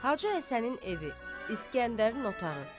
Hacı Həsənin evi, İsgəndərin otağı.